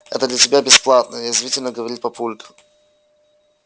это для тебя бесплатное язвительно говорит папулька